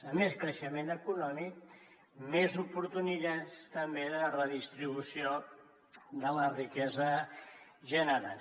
a més creixement econòmic més oportunitats també de redistribució de la riquesa generada